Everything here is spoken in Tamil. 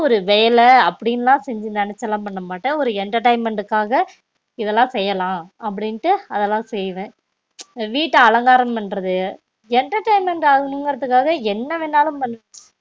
ஒரு வேல அப்டின்லாம் செஞ்சி நெனச்சிலாம் பண்ண மாட்டன் ஒரு entertainment காக இதுலான் செய்யலாம் அப்டின்ட்டு அதலா செய்வன் வீட்ட அலங்காரம் பண்றது entertainment ஆவணும் இங்குரத்துகாக என்ன வேணாலும் பன்